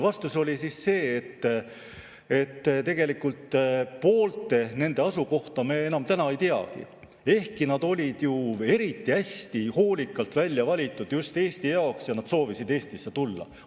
Vastus oli see, et tegelikult poolte nende asukohta me enam ei teagi, ehkki nad olid ju eriti hästi hoolikalt välja valitud just Eesti jaoks ja nad soovisid Eestisse tulla.